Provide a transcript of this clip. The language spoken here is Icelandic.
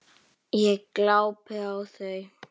Ég glápi á þau.